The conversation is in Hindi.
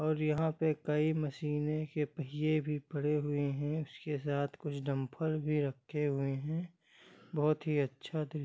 और यहाँ पे एक कई मशीने के पहिये भी पड़े हुए है उसके साथ कुछ डम्पर भी रखे हुए हैं बहुत ही अच्छा थ--